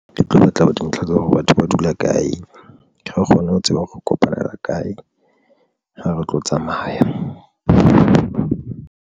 Ke tlo batla dintlha tsa hore batho ba dula kae, re kgone ho tseba hore re kopanela kae ha re tlo tsamaya.